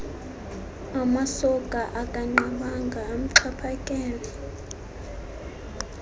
amasoka akanqabanga amxhaphakele